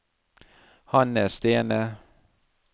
Hanne Stene